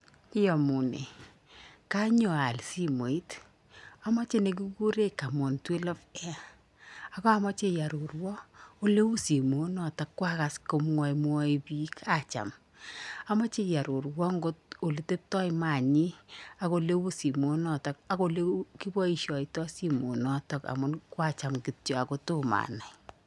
Iomunee konyo aal simoit omoche nekikuren camon 12AI ak omoche ioruruon ole u simoit noton koakas komwomwoe biik acham omoche iororuon kot oleteptpoo manyin ak ole u simoit noton ak ole kiboishoito simoit noton amun koacham kityok ako tomo anai.